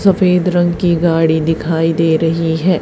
सफेद रंग की गाड़ी दिखाई दे रही है।